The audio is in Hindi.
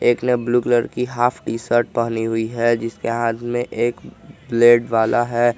एक ने ब्लू कलर की हाफ टी शर्ट पहनी हुई है जिसके हाथ में एक ब्लेड वाला है।